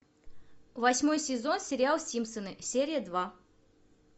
восьмой сезон сериал симпсоны серия два